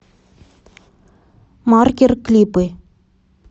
маркер клипы